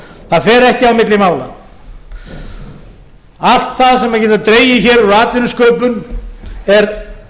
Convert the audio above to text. það fer ekki á milli mála allt það sem við getum dregið úr atvinnusköpun er